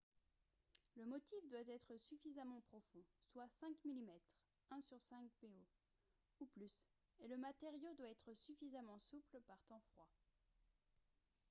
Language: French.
le motif doit être suffisamment profond soit 5 mm 1/5 po ou plus et le matériau doit être suffisamment souple par temps froid